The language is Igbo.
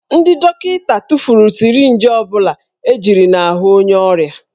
Ndị dọkịta tụfuru sirinji ọ bụla ejiri n'ahụ onye ọrịa